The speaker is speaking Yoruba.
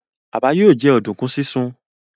Baba yóò jẹ oduku sisùn.